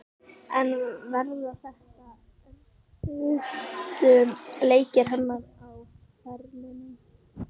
En verða þetta erfiðustu leikir hennar á ferlinum?